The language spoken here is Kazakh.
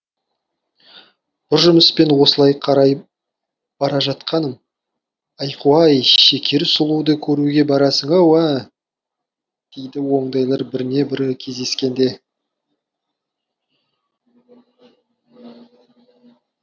бір жұмыспен осылай қарай бара жатқаным айқу ай шекер сұлуды көруге барасың ау ә дейді ондайлар біріне бірі кездескенде